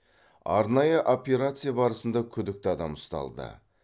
арнайы операция барысында күдікті адам ұсталды